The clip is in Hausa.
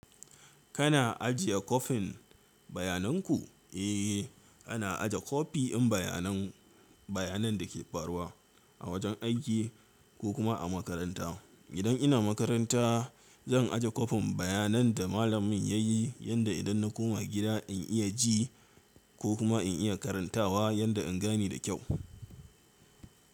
Kana ajiye kofin bayanan ku? Eh, ana ajiye kofi in bayananmu, bayanan dake faruwa a wajen aiki ko kuma a makaranta. Idan ina makaranta, zan ajiye kwafin bayanan da malamin yayi yanda idanna koma gida in iya ji ko kuma in iya karantawa yanda in gane da kyau.